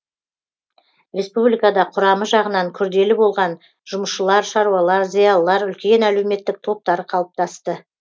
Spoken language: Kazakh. республикада құрамы жағынан күрделі болған жұмысшылар шаруалар зиялылар үлкен әлеуметтік топтары қалыптасты